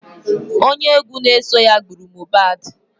Onye egwu na-eso ya gburu Mobadh